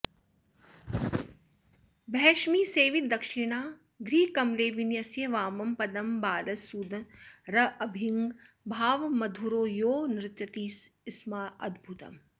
भैष्मीसेवितदक्षिणाघ्रिकमले विन्यस्य वामं पदं बालस्सुन्दरभङ्गिभावमधुरो यो नृत्यति स्माद्भुतम्